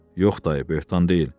Yox dayı, böhtan deyil.